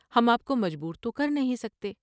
ہم آپ کو مجبورتو کر نہیں سکتے ۔